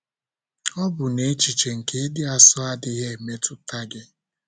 Ọ̀ bụ na echiche nke ịdị asọ adịghị emetụta gị?